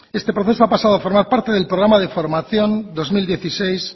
este proceso ha pasado a formar parte del programa de formación dos mil dieciséis